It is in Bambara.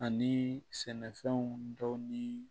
Ani sɛnɛfɛnw dɔw ni